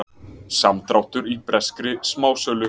Samdráttur í breskri smásölu